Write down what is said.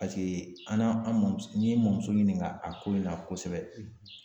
Paseke an n'an an mɔmuso n ye n mɔmuso ɲininka a ko in na kosɛbɛ